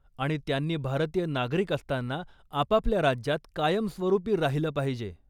आणि त्यांनी भारतीय नागरिक असताना आपापल्या राज्यात कायमस्वरूपी राहिलं पाहिजे.